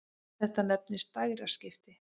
Þetta nefnist dægraskipti.